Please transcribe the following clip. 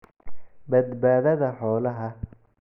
Badbaadada xoolaha.